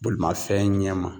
Bolimafɛn ɲɛma.